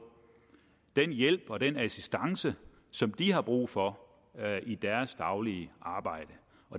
den hjælp og den assistance som de har brug for i deres daglige arbejde